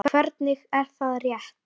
Hvernig, er það rétt?